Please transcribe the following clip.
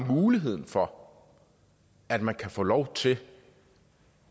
for muligheden for at man kan få lov til